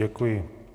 Děkuji.